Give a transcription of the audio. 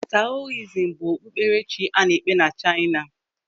Taoism bụ okpukperechi a na-ekpe na Chaina.